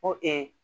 Ko